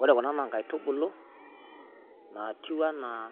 Ore kuna naa inkaitubulu naatiu enaa